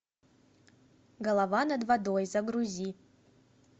голова над водой загрузи